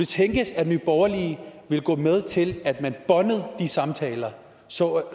tænkes at nye borgerlige vil gå med til at man båndede de samtaler så